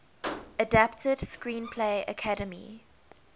adapted screenplay academy